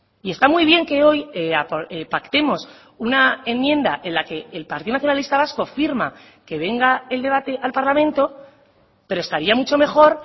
y está muy bien que hoy pactemos una enmienda en la que el partido nacionalista vasco firma que venga el debate al parlamento pero estaría mucho mejor